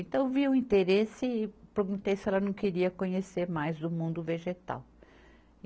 Então eu via o interesse e perguntei se ela não queria conhecer mais do mundo vegetal.